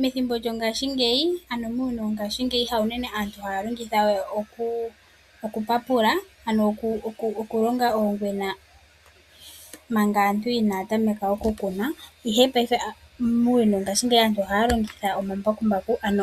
Methimbo lyongaashingeyi, ano muuyuni wongashingeyi; haunene aantu ha ya longitha oku papula ano oku longa oongwena manga inaa Kuna, ihe paife aantu oha ya longitha omambakumbaku, ano